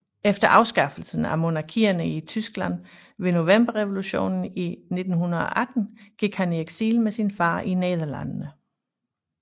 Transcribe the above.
Efter afskaffelsen af monarkierne i Tyskland ved Novemberrevolutionen i 1918 gik han i eksil med sin far i Nederlandene